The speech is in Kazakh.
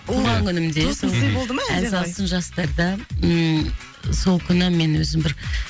туған күнімде тосын сый болды ма ән салсын жастарда ммм сол күні мен өзім бір